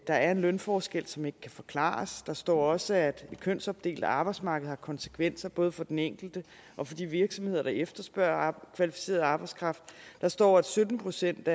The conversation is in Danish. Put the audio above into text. der er en lønforskel som ikke kan forklares der står også at et kønsopdelt arbejdsmarked har konsekvenser både for den enkelte og for de virksomheder der efterspørger kvalificeret arbejdskraft der står at sytten procent